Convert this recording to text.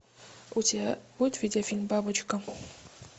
у тебя будет видеофильм бабочка